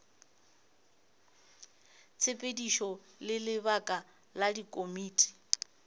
tshepedišo le lebaka la dikomiti